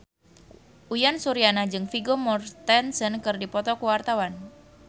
Uyan Suryana jeung Vigo Mortensen keur dipoto ku wartawan